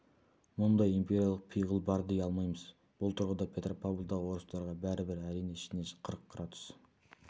мұндай империялық пиғыл бар дей алмаймыз бұл тұрғыда петропавлдағы орыстарға бәрібір әрине ішіне қырық градус